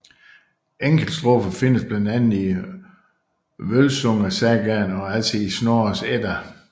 Enkeltstrofer findes blandt andet i Vølsungesagaen og altså i Snorres Edda